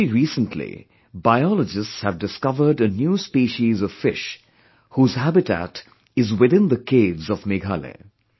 Very recently, biologists have discovered a new species of fish whose habitat is within the caves of Meghalaya